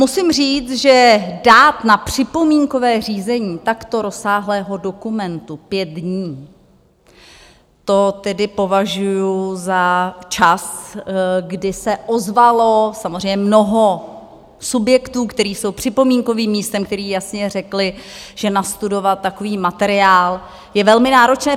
Musím říci, že dát na připomínkové řízení takto rozsáhlého dokumentu pět dní, to tedy považuji za čas, kdy se ozvalo samozřejmě mnoho subjektů, které jsou připomínkovým místem, které jasně řekly, že nastudovat takový materiál je velmi náročné.